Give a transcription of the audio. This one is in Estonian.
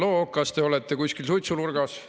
Halloo, kas te olete kuskil suitsunurgas?